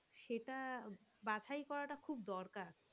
সেটা বাছাই করাটা খুব দরকার.